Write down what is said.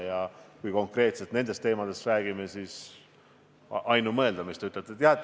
Ja kui konkreetselt nendest teemadest räägime, siis on ainumõeldav see, mis te ütlesite.